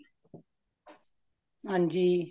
ਹਾਂਜੀ